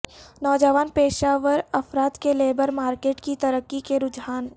نوجوان پیشہ ور افراد کی لیبر مارکیٹ کی ترقی کے رجحان